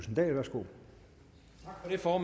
vil i forhold